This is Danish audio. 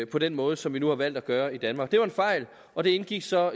på den måde som vi nu har valgt at gøre i danmark det var en fejl og det indgik så